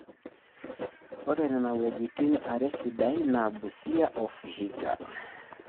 Ore Nena wuejitin are sidan naa Busia o Vihiga.